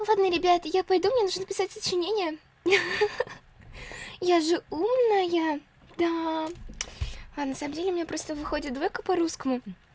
ладно ребят я пойду мне нужно написать сочинение хи-хи я же умная да а на самом деле мне просто выходит двойка по русскому